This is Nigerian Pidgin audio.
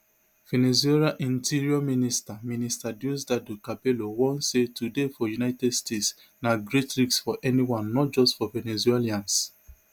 venezuelainterior minister minister diosdado cabello warn say to dey for united states na great risk for anyone not just for venezuelans